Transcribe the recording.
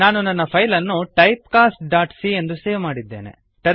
ನಾನು ನನ್ನ ಫೈಲ್ ಅನ್ನು ಟೈಪ್ ಕಾಸ್ಟ್ ಡಾಟ್ ಸಿ ಎಂದು ಸೇವ್ ಮಾಡಿದ್ದೇನೆ